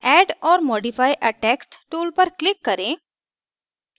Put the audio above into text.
add or modify a text tool पर click करें